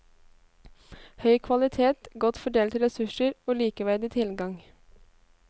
Høy kvalitet, godt fordelte ressurser og likeverdig tilgang.